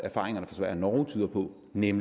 mit